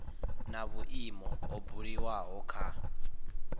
na vhuimo ho buliwaho kha